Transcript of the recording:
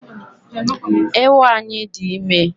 Ewu anyi di ime